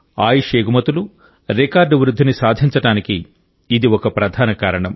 ఆయుష్ ఎగుమతులు రికార్డు వృద్ధిని సాధించడానికి ఇది ఒక ప్రధాన కారణం